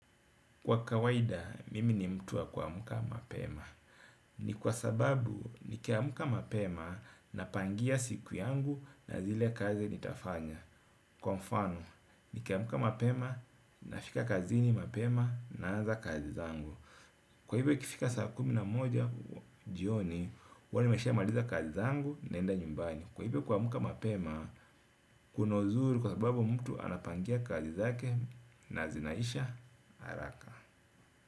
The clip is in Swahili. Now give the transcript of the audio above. Kwa kawaida, mimi ni mtu wa kuamka mapema. Ni kwa sababu, nikiamka mapema napangia siku yangu na zile kazi nitafanya. Kwa mfano, nikiamka mapema nafika kazini mapema, naanza kazi zangu. Kwa hivyo ikifika saa kumi na moja jioni, huwa nimeshamaliza kazi zangu, naenda nyumbani. Kwa hivyo kuamka mapema, kuna uzuri kwa sababu mtu anapangia kazi zake na zinaisha haraka.